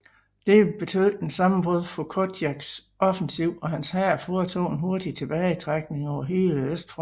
Dette betød et sammenbrud for Koltjaks offensiv og hans hær foretog en hurtig tilbagetrækning over hele østfronten